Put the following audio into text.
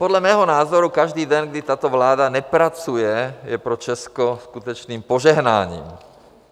Podle mého názoru každý den, kdy tato vláda nepracuje, je pro Česko skutečným požehnáním.